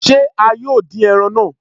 Se a yóò dín ẹran náà?